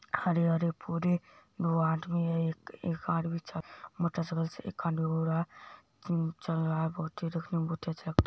खड़े-खड़े पूरे दो आदमी है एक आदमी चल मोटरसाइकिल चल रहा है बहुत तेज देखने में